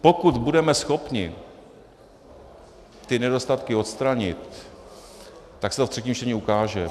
Pokud budeme schopni ty nedostatky odstranit, tak se to ve třetím čtení ukáže.